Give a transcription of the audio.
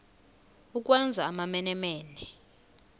ukwenza amamene mene